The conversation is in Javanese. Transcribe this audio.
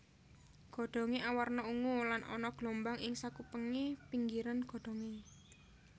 Godhongé awarna ungu lan ana gelombang ing sakupengé pinggiran godhongé